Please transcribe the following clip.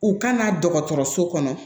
U kana dɔgɔtɔrɔso kɔnɔ